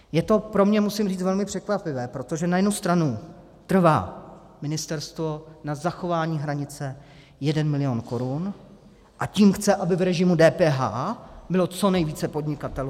Je to pro mě, musím říct, velmi překvapivé, protože na jednu stranu trvá ministerstvo na zachování hranice 1 milion korun, a tím chce, aby v režimu DPH bylo co nejvíce podnikatelů.